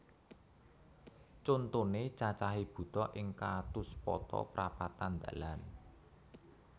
Contoné cacahé buta ing catuspata prapatan dalan